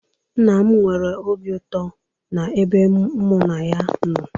Nna m nwere obi ụtọ na ebe ụmụnna ya nọ